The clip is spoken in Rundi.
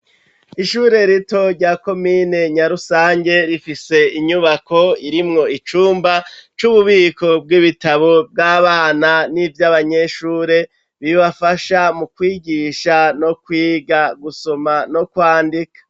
Ishure rito rya komine Nyarusange rifise inyubako irimwo icumba c'ububiko bw'ibitabo bw'abana n'ivy'abanyeshure bibafasha mu kwigisha no kwiga gusoma no kwandika.